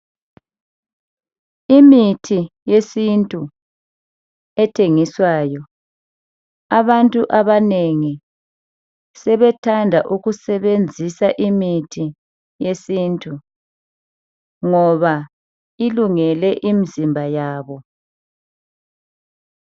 Imithi yesintu ethengiswayo . Abantu abanengi sebethanda ukusebenzisa imithi yesintu .Ngoba ilungele imzimba yabo .